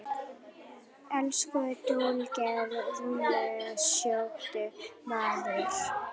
Elsku duglegi rúmlega sjötugi maður.